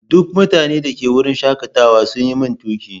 Duk mutanen da ke wurin shakatawa sun yi min tuƙi.